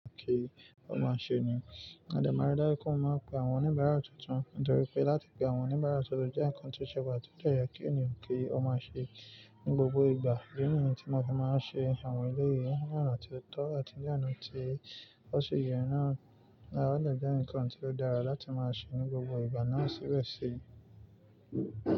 Kí ó má ṣe ni, Adèmáradé kó máa pe àwọn oníbàárà tuntun, nítorí pé láti pe àwọn oníbàárà tuntun jẹ́ ǹkan tó ṣẹwà tí ó jẹ́ yẹ kí ènìyàn kí ó má ṣe ní gbogbo ìgbà. Idi ní èyí tí mo fi máa ń ṣe àwọn eléèyii ní àná tí ó tọ́ àti ní àná tí tọ́ sì yẹ naa, a lè jẹ́ ǹkan tí ó dára láti máa ṣe ní gbogbo ìgbà náà síbẹ̀ sì.